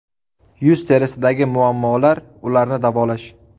Yuz terisidagi muammolar ularni davolash.